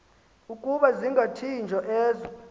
ukuba zingathinjwa ezo